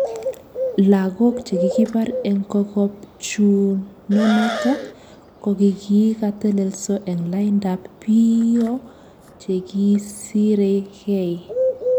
Lakok chekikipar eng kokopchunonotok, kokikatelelso eng laindap piio chekisirekei